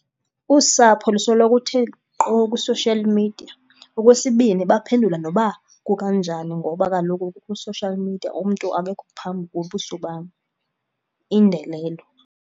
Usapho lusoloko uthe nkqo kwi-social media. Okwesibini, baphendula noba kukanjani ngoba kaloku kwi-social media umntu akekho phambi kobuso bam. Indelelo.